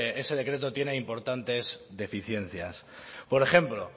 que ese decreto tiene importantes deficiencias por ejemplo